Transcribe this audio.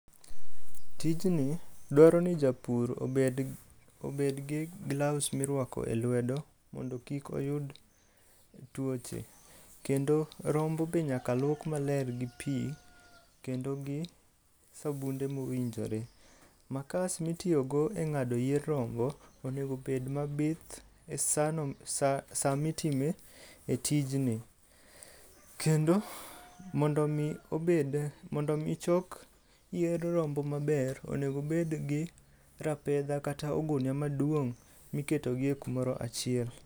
Tijni dwaro ni japur obed obed gi gloves mirwako e lwedo, mondo kik oyud tuoche. Kendo, rombo be nyaka luok maler gi pii kendo gi sabunde mowinjore. Makas mitiyogo e ng'ado yier rombo onego obed mabith e sano saa saa mitime tijni. Kendo, mondo mii obed, mondo mi chok yier rombo maber, onego obed gi rapedha kata ogunia maduong' miketo gi e kumoro achiel.